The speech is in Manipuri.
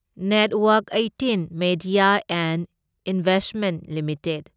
network eighteen media and investments limited